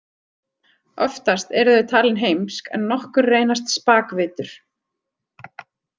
Oftast eru þau talin heimsk en nokkur reynast spakvitur.